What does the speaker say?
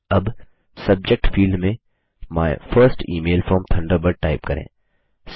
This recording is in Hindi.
अब सबजेक्ट फील्ड में my first email from Thunderbird type करें